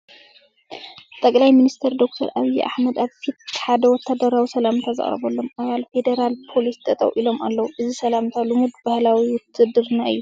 ጠቕላይ ሚኒስትር ዶክተር ኣብዪ ኣሕመድ ኣብ ፊት ሓደ ወታደራዊ ሰላምታ ዘቕርበሎም ኣባል ፌደራል ፖሊሲ ጠጠው ኢሎም ኣለዉ፡፡ እዚ ሰላምታ ልሙድ ባህሊ ውትድርና እዩ፡፡